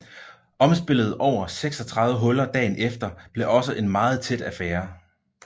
Omspillet over 36 huller dagen efter blev også en meget tæt affære